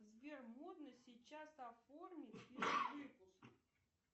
сбер можно сейчас оформить перевыпуск